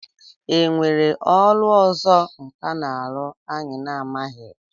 E nwere ọrụ ọzọ nkà na-arụ anyị na-amaghị?